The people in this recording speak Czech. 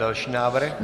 Další návrh?